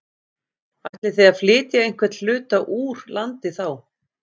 Ætlið þið að flytja einhvern hluta úr landi þá?